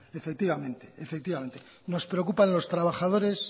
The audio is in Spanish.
efectivamente nos preocupan los trabajadores